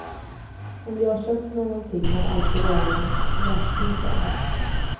Om jag köpt något har det alltid varit mot räkning, säger han.